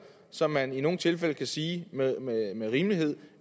som man i nogle tilfælde kan sige med rimelighed